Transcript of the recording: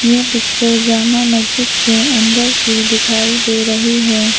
यह पिक्चर जामा मस्जिद के अंदर की दिखाई दे रही है।